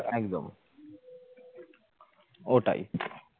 একদম ওটাই